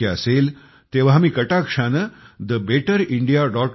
शक्य असेल तेंव्हा मी कटाक्षाने thebetterindia